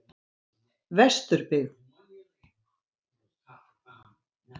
Vesturbyggð